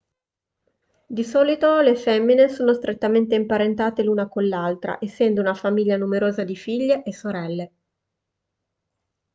di solito le femmine sono strettamente imparentate l'una con l'altra essendo una famiglia numerosa di figlie e sorelle